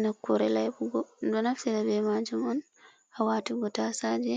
Nokkure laiɓugo ɗum ɗo naftira be majum on hawatugo tasaje